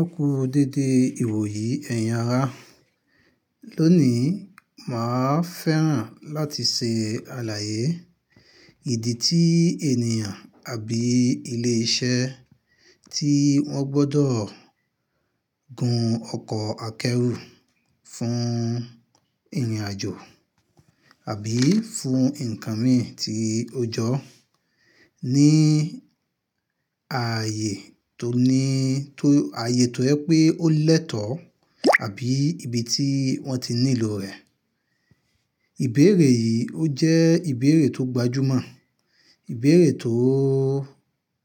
Eku dédé ìwòyí ẹ̀yin ara. Lónìí, máa fẹ́ràn láti ṣe àlàyé ìdí tí ènìyàn àbí ilé iṣẹ́ tí wọ́n gbọdọ̀ gun ọkọ̀ akẹ́rù fún ìrìnàjò àbí fún ǹkan mìí tí ó jọ ní ààyè tó ní, tó, ààyè tó jẹ pé ó lẹ́tọ̀ àbí ibi tí wọ́n ti nílò rẹ̀. Ìbéèrè yìí ó jẹ́ ìbéèrè tó gbajúmọ̀, ìbéèrè tó,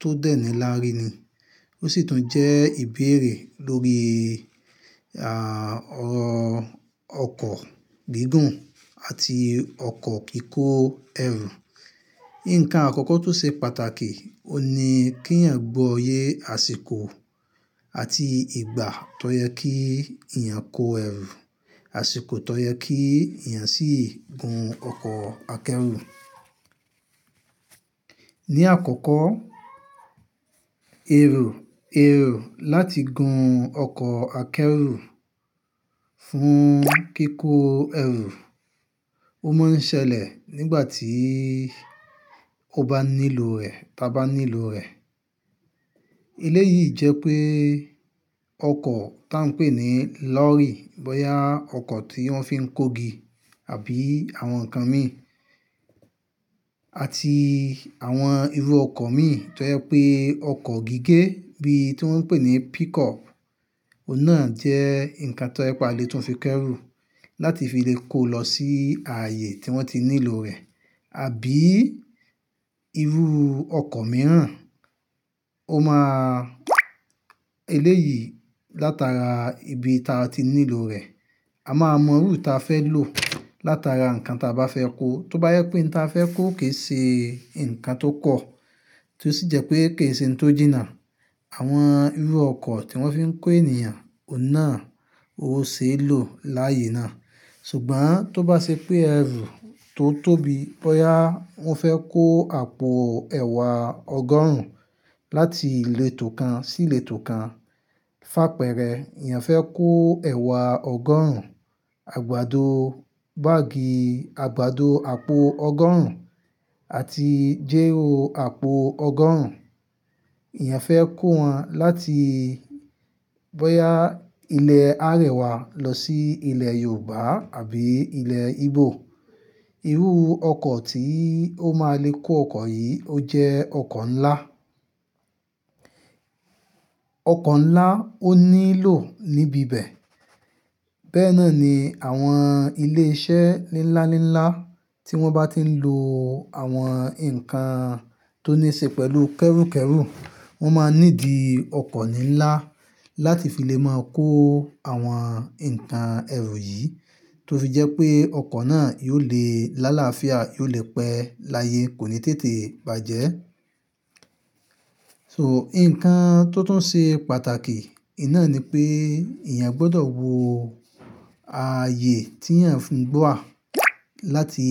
tó dẹ nilárí ni. Ó sì tún jẹ́ ìbéèrè lórí, à, ọkọ̀ gigun àti ọkọ̀ kikó ẹrù. Ǹkan àkọ́kọ́ tó ṣe pàtàkì, òní kí ẹ̀yin gbọ́ ye àsìkò àti ìgbà tó yẹ kí èèyàn kó ẹrù, àsìkò tó yẹ kí ẹ̀yàn sì gun ọkọ̀ akẹ́rù. Ní àkọ́kọ́, èro, èro láti gun ọkọ̀ akẹ́rù fún kíkó ẹrù, ó máa ń ṣẹlẹ̀ nígbà tí ó bá nílò rẹ̀, ta bá nílò rẹ̀. Eléyìí jẹ́ pé ọkọ̀ tá ń pè ní lọ́rry, bóyá ọkọ̀ tí wọ́n fi ń kó igi àbí àwọn ǹkan mìi àti àwọn irú ọkọ̀ mìí tó yẹ pé ọkọ̀ gígé bí tí wọ́n ń pè ní pickup, òun náà jẹ́ ǹkan tó jẹ pe à le tun fi kẹ́rù láti fi lè kó lọ sí ààyè tí wọ́n ti nílò rẹ̀. Àbí irú ọkọ̀ mìíràn, ó máa, eléyìí látara ibi ta ti nílò rẹ̀. A máa mọ irú eyi ta fẹ́ lò látara ǹkan ta bá fẹ́ kó. Tó bá yẹ pé n ta fẹ́ kó kì ṣe ǹkan tó kọ̀, tí ó sì jẹ́ pé kì ṣe n tó jìnà, àwọn irú ọkọ̀ tí wọ́n fi ń kó ènìyàn, òun náà, òun ò ṣeé lò láyé náà. Ṣùgbọ́n tó bá ṣe pé ẹrù tó tóbi, bóyá wọ́n fẹ́ kó àpò ẹ̀wà ọgọ́rùn-ún láti ìletò kan sí ìletò kan, fà'pẹ́rẹ́ èèyàn fẹ́ kó ẹ̀wà ọgọ́rùn-ún, àgbàdo báàgì, àgbàdo àpò ọgọ́rùn-ún àti jẹ́ró àpò ọgọ́rùn-ún, èèyàn fẹ́ kó wọn láti bóyá ilẹ̀ Arẹwà lọ sí ilẹ̀ Yorùbá àbí ilẹ̀ Igbo, irú ọkọ̀ tí ó máa le kó ọkọ̀ yìí ó jẹ́ ọkọ̀ ńlá. Ọkọ̀ ńlá ó nílò níbi ibẹ̀. Bẹ́ẹ̀ náà ni àwọn ilé iṣẹ́ nlánlá tí wọ́n bá ti ń lo àwọn ǹkan tó ní ṣe pẹ̀lú kẹ́rù kẹ́rù, wọ́n máa nídi ọkọ̀ nlańlá láti fi lè máa kó àwọn ǹkan ẹrù yìí tó fi jẹ́ pé ọkọ̀ náà yiò lè lálàáfíà, yiò lè pẹ́ láyé, kò ní tètè bàjẹ́. So, ǹkan tó tún ṣe pàtàkì, ì ná ni pé ẹ̀eyàn gbọdọ̀ wo ààyè tí eẹ̀yan ń gbọ́ wà láti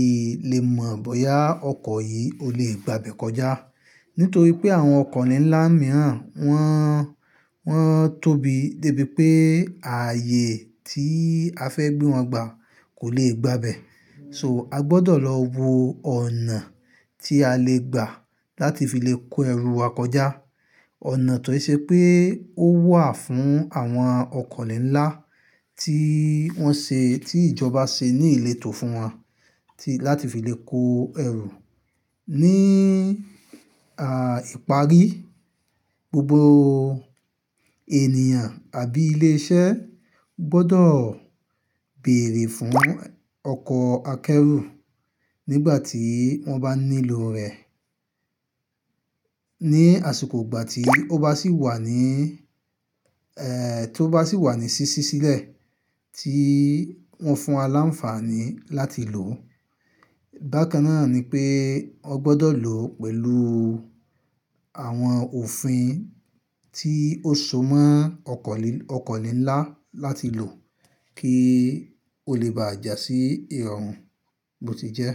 lè mọ̀ bóyá ọkọ̀ yìí ó lè gba ibẹ̀ kọjá. Nítorí pé àwọn ọkọ̀ ni ńlá mìíràn wọ́n, wọ́n tóbi débi pé ààyè tí a fẹ́ gbé wọn gba kò lè gba ibẹ̀. So, a gbọdọ̀ lọ wo ọ̀nà tí a lè gba láti fi lè kó ẹrù wa kọjá. Ọ̀nà tó ṣe pé ó wà fún àwọn ọkọ̀ ni ńlá tí wọ́n ṣe, tí ìjọba ṣe ní ìletò fún wọn láti fi lè kó ẹrù. Ní, à, ìparí, gbogbo ènìyàn àbí ilé iṣẹ́ gbọdọ̀ béèrè fún ọkọ̀ akẹ́rù nígbà tí wọ́n bá nílò rẹ̀, ní àsìkò ìgbà tí ó bá sì wà ní, eh, tó bá sì wà ní ṣíṣí sílẹ̀ tí wọ́n fún wa láǹfààní láti lò. Bákan náà ni pé o gbọdọ̀ lò ó pẹ̀lú àwọn òfin tí ó so mọ́ ọkọ̀ ni, ọkọ̀ ni ńlá láti lò kí o lè bàjẹ́ sí ìrọ̀rùn bó ti jẹ́.